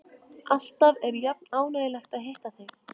Alltaf er jafn ánægjulegt að hitta þig.